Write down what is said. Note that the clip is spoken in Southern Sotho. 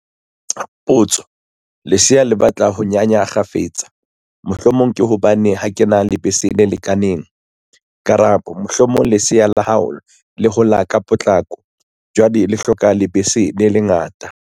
Potso- Lesea le batla ho nyanya kgafetsa, mohlomong ke hobane ha ke na lebese le lekaneng? Karabo- Mohlomong lesea la hao le hola ka potlako, jwale le hloka lebese le le ngata.